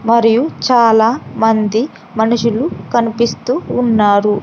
మరియు చాలా మంది మనుషులు కనిపిస్తూ ఉన్నారు.